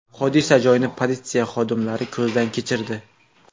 Hodisa joyini politsiya xodimlari ko‘zdan kechirdi.